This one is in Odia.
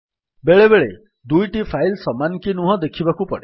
ବେଳେବେଳେ ଦୁଇଟି ଫାଇଲ୍ ସମାନ କି ନୁହଁ ଦେଖିବାକୁ ପଡେ